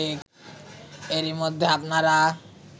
এরই মধ্যে আপনারা